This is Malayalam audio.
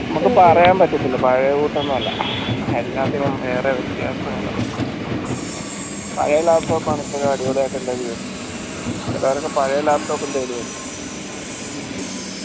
നമുക്ക് പറയാൻ പറ്റത്തില്ല പഴേ എല്ലാത്തിനും വേറെ വ്യത്യാസങ്ങളാ പഴേ laptop ആണ് ഇപ്പോഴും അടിപൊളിയായ്ട്ട് എല്ലാരും use ചെയ്യുന്നേ ചിലരൊക്കെ പഴേ laptop